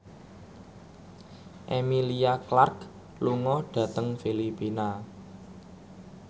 Emilia Clarke lunga dhateng Filipina